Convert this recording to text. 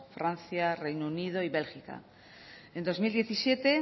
francia reino unido y bélgica en dos mil diecisiete